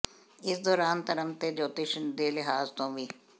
ਇਸ ਦੌਰਾਨ ਧਰਮ ਤੇ ਜੋਤਿਸ਼ ਦੇ ਲਿਹਾਜ਼ ਤੋਂ ਵੀ